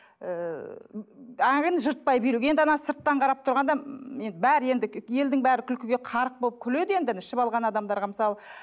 ыыы жыртпай билеу енді ананы сырттан қарап тұрғанда енді бәрі енді елдің бәрі күлкіге қарық болып күледі енді ішіп алған адамдарға мысалы